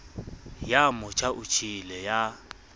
ya motjha o tjhele ya